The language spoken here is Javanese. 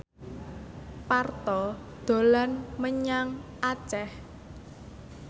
Parto dolan menyang Aceh